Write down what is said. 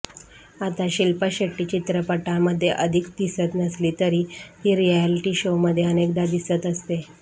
आता शिल्पा शेट्टी चित्रपटांमध्ये अधिक दिसत नसली तरी ती रिएलिटी शोमध्ये अनेकदा दिसत असते